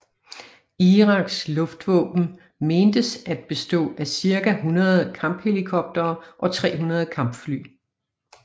Iraks luftvåben mentes at bestå af cirka 100 kamphelikoptere og 300 kampfly